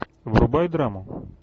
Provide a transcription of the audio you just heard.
врубай драму